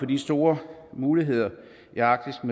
de store muligheder i arktis